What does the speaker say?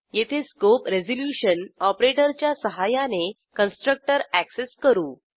येथे scope resolution ऑपरेटरच्या सहाय्याने कन्स्ट्रक्टर अॅक्सेस करू